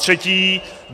Zatřetí.